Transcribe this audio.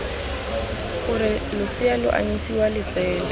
gore losea lo anyisiwa letsele